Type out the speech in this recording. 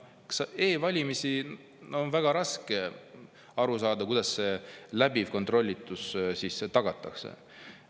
E-valimiste puhul on väga raske aru saada, kuidas see läbiv kontrollitus siis tagatakse.